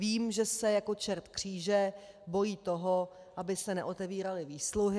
Vím, že se jako čert kříže bojí toho, aby se neotevíraly výsluhy.